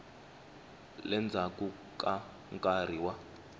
le ndzhaku ka nkarhi wa